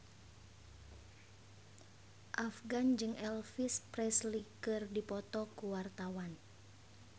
Afgan jeung Elvis Presley keur dipoto ku wartawan